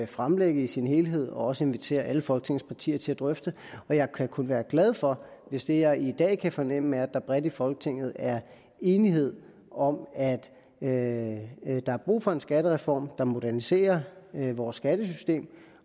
fremlægge i sin helhed og også invitere alle folketings partier til at drøfte og jeg kan kun være glad for hvis det jeg i dag kan fornemme er at der bredt i folketinget er enighed om at at der er brug for en skattereform der moderniserer vores skattesystem